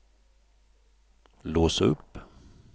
lås upp